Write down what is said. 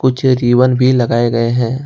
जो रिबन भी लगाए गए हैं।